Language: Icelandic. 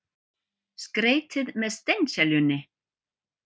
Skreytið með steinseljunni.